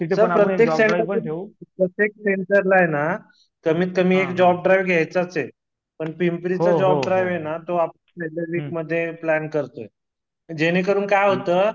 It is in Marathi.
सर प्रत्येक सेंटरला प्रत्येक सेण्टरला हे ना कमीत कमी एक जॉब ड्राईव्ह घ्याचंच हे पण पिंपरीच जॉब ड्राईव्ह हे ना तो आपल्याला वीकमध्ये प्लॅन करतो हे जेणे करून काय होत